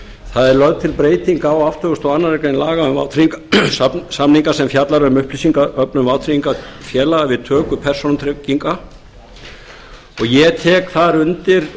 það er lögð til breyting á áttugasta og aðra grein laga um vátryggingarsamninga sem fjalla um upplýsingaöflun vátryggingafélaga við töku persónutrygginga og ég tek þar undir